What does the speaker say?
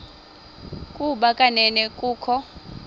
ukuba kanene kukho